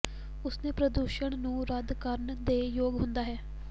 ਉਸ ਨੇ ਪ੍ਰਦੂਸ਼ਣ ਨੂੰ ਰੱਦ ਕਰਨ ਦੇ ਯੋਗ ਹੁੰਦਾ ਹੈ